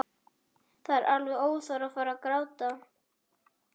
Það er alveg óþarfi að fara að gráta.